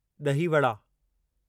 ॾही वड़ा